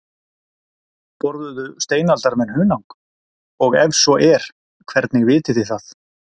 Borðuðu steinaldarmenn hunang, og ef svo er hvernig vitið þið það?